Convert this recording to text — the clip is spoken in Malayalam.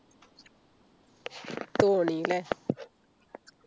തോണി ല്ലേ